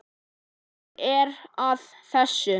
Gaman að þessu.